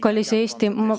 Kallis Eesti!